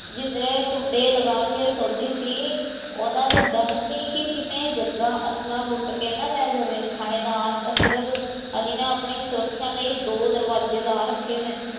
ਜਿੰਦਰੇ ਕੁੰਡੇ ਲਗਾ ਕੇ ਸੋਨਦੀ ਸੀ ਉਹਨਾਂ ਨੂੰ ਡਰ ਸੀ ਕਿ ਕੀਤੇ ਜਗਾ ਅਸਰਫ਼ਾ ਲੁੱਟ ਕੇ ਨਾ ਲੈ ਜਵੇਂ ਥਾਣੇਦਾਰ ਅਸਰਫ਼ ਅਲੀ ਨੇ ਆਪਣੀ ਸੁਰਖਾ ਲਈ ਦੋ ਦਰਵਾਜੇ ਲਾ ਰਖੇ ਸਨ